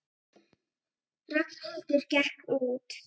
Ragnhildur gekk út.